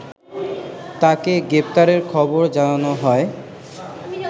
তাকে গ্রেপ্তারের খবর জানানো হয়